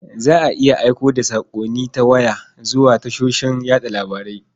Za a iya aiko da saƙonni ta waya zuwa tashoshin yaɗa labarai.